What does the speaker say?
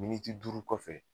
Miniti duuru kɔfɛ